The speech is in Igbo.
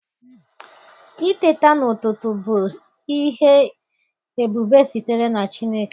Iteta n'ututu bis ihe ebube sitere na Chineke.